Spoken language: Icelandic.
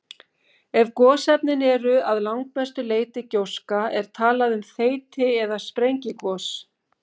Ef gosefnin eru að langmestu leyti gjóska er talað um þeyti- eða sprengigos.